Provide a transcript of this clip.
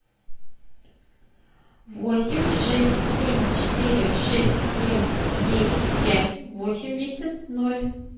восемь шесть семь четыре шесть пять девять пять восемьдесят ноль